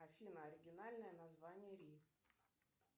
афина оригинальное название ри